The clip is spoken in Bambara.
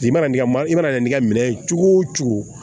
I mana n'i ka i mana n'i ka minɛ cogo o cogo